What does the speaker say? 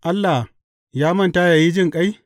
Allah ya manta yă yi jinƙai?